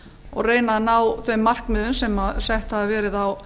og reyna að ná þeim markmiðum sem sett hafa verið á